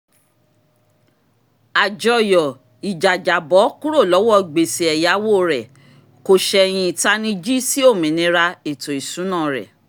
àjọyọ̀ ìjàjàbọ́ kúrò lọ́wọ́ gbèsè ẹ̀yáwó rẹ̀ kò sẹ̀yìn ìtanijí sí òmìnira ètò ìsúná rẹ̀